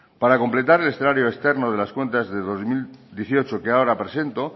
para completar el escenario externo de las cuentas del dos mil dieciocho que ahora presento